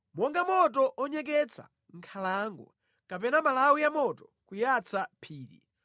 Monga moto umatentha nkhalango, kapena malawi a moto kuyatsa phiri,